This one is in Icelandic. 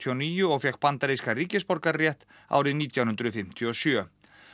og níu og fékk bandarískan ríkisborgararétt árið nítján hundruð fimmtíu og sjö